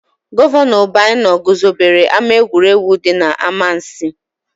Gọvanọ Obianọ guzobere ama egwuregwu dị n'Amansiị.